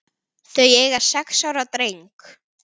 Þau eiga sex ára dreng